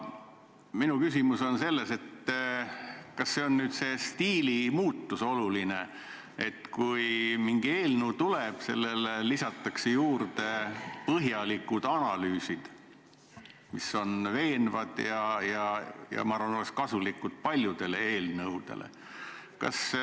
Kas tegu on olulise stiilimuutusega: kui mingi eelnõu tuleb, siis sellele lisatakse põhjalikud analüüsid, mis on veenvad ja oleks kasulikud paljudele eelnõudele?